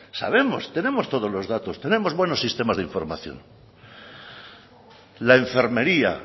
sabemos tenemos todos los datos tenemos buenos sistemas de información la enfermería